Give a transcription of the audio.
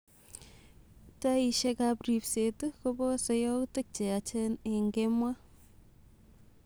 Taishekap ripseet kopose yautik cheyachen en kemoo